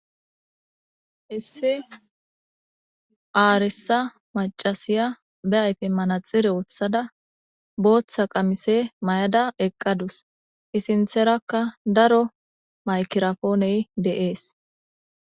Issi arisa mac'ashiya be ayfen manaxire wothada Botha qamise mayada eqadus I sintharaka daro maykiraponay de'es.